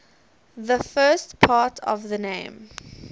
the first part of the name